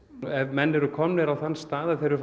ef menn eru komnir á þann stað að þeir eru